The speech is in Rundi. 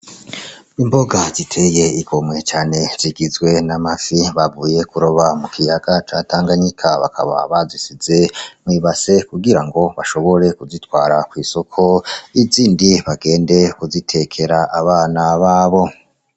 Imboga ziteye igomwe cane zigizwe n'amafi bavuye kuroba mukiyaga ca Tanganyika, bakaba bazisize mwi base kugirango bashobore kuzitwara kw’isoko, izindi bagende kuzitekera abana babo.